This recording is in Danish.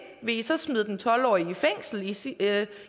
vil i så smide den tolv årige i fængsel i siger